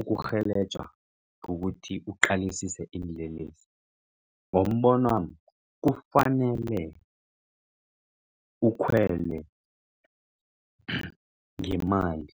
ukurhelejwa ngokuthi uqalisise iinlelesi ngombonwami kufanele ukhwele ngemali.